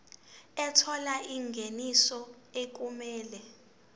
ethola ingeniso okumele